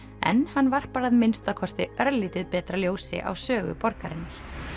en hann varpar að minnsta kosti örlítið betra ljósi á sögu borgarinnar